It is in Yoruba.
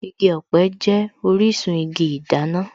Igi ọ̀pẹ jẹ́ orísun igi ìdáná